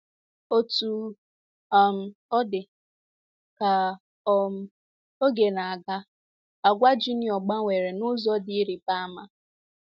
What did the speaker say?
Otú um ọ dị, ka um oge na - aga, àgwà Junior gbanwere n’ụzọ dị ịrịba ama.